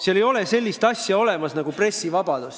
Seal ei ole olemas sellist asja nagu pressivabadus.